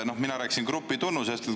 Mina rääkisin grupitunnusest.